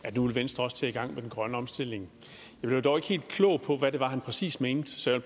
at nu ville venstre også i gang med den grønne omstilling jeg blev dog ikke helt klog på hvad det var han præcis mente så jeg